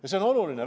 Ja see on oluline.